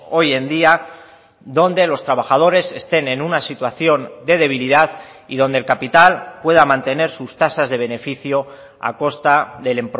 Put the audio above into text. hoy en día donde los trabajadores estén en una situación de debilidad y donde el capital pueda mantener sus tasas de beneficio a costa del